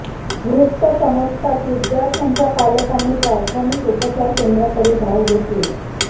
वृत्त समजातच विद्यार्थ्यांच्या पालकांनी प्राथमिक उपचार केंद्राकडे धाव घेतली